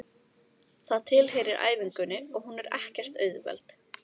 Það tilheyrir æfingunni og hún er ekkert auðveld.